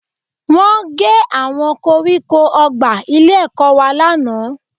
Wọ́n gé àwọn koríko ọgbà ilé-ẹ̀kọ́ wa lánàá